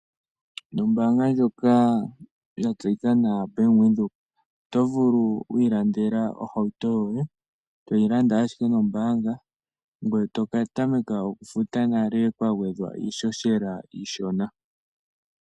Nombaanga ndjoka ya tsetika nawa Bank Windhoek oto vulu wi ilandela ohauto yoye, toyi landa ashike nombaanga ngoye to ka tameka okufuta nale kwa gwedhwa iihohela iishona.